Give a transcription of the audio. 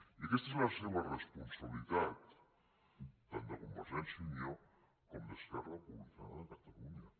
i aquesta és la seva responsabilitat tant de convergència i unió com d’esquerra republicana de catalunya